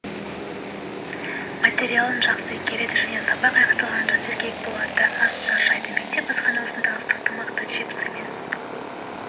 материалын жақсы игереді және сабақ аяқталғанша сергек болады аз шаршайды мектеп асханаларында ыстық тамақты чипсымен